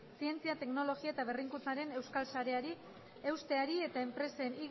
zientzia teknologia eta berrikuntzaren euskal sareari eusteari eta enpresen